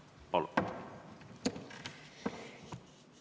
Palun!